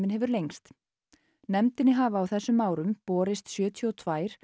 hefur lengst nefndinni hafa á þessum árum borist sjötíu og tvö